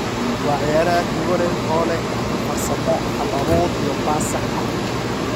Waa ciyaaryahan hibo leh oo leh karti farsamo, hal abuur iyo baas sax ah.